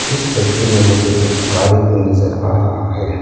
इस तस्वीर में मुझे एक गाड़ी भी नजर आ रहा है।